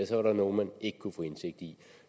så var nogle man ikke kunne få indsigt i